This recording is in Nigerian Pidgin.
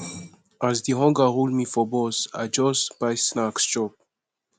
as di hunger hold me for bus i just buy snacks chop